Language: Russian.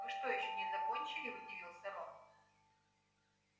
вы что ещё не закончили удивился рон